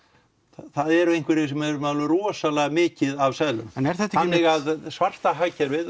það eru einhverjir sem eru með alveg rosalega mikið af seðlum þannig að svarta hagkerfið